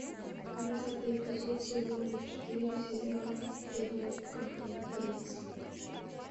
двадцатый эпизод сезона четыре сериала первое кафе принц